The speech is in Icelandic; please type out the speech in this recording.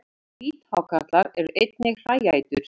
Hvíthákarlar eru einnig hræætur.